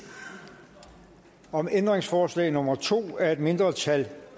om ændringsforslag nummer to af et mindretal